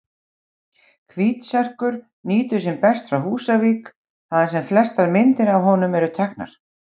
Hvítserkur nýtur sín best frá Húsavík, þaðan sem flestar myndir af honum eru teknar.